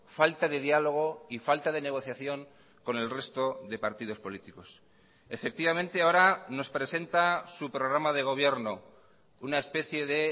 falta de diálogo y falta de negociación con el resto de partidos políticos efectivamente ahora nos presenta su programa de gobierno una especie de